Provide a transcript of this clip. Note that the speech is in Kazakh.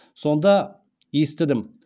сонда естідім